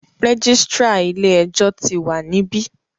Registrar ilé ẹjọ́ tí wa níbí.